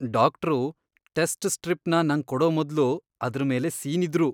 Doctor test ಸ್ಟ್ರಿಪ್ನ ನಂಗ್ ಕೊಡೋ ಮೊದ್ಲು ಅದ್ರ್ ಮೇಲೆ ಸೀನಿದ್ರು.